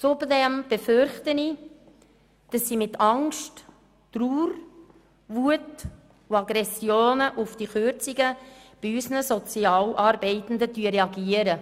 Zudem befürchte ich, dass sie wegen dieser Kürzungen mit Angst, Trauer, Wut und Aggressionen gegenüber unseren Sozialarbeitenden reagieren.